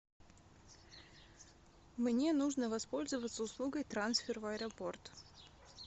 мне нужно воспользоваться услугой трансфер в аэропорт